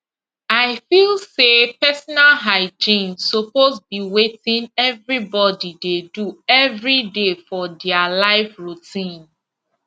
i feel say personal hygiene suppose be wetin everybody dey do everyday for their life routine